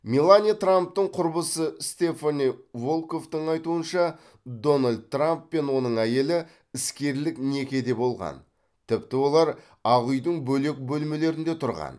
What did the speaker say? мелания трамптың құрбысы стефани волкоффтың айтуынша дональд трамп пен оның әйелі іскерлік некеде болған тіпті олар ақ үйдің бөлек бөлмелерінде тұрған